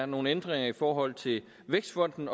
nogle ændringer i forhold til vækstfonden